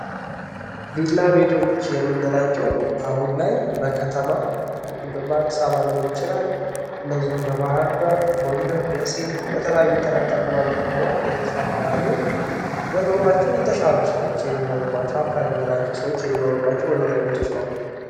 ቪላ ቤቶች የምንላቸው አሁን ላይ በከተማ በአዲስ አበባ ሊሆን ይችላል እንዲሁም በባህር ዳር ጎንደር ደሴ በተለያዩ ተለቅለቅ ባለው ከተሞች ላይ እየተስፋፉ ያሉ በኑሯቸው የተሻሉ ሰዎች የሚኖሩባቸው አፓርትመንቶች ናቸው። ሰዎች የሚኖሩባቸው መኖሪያ ቤቶች ናቸው።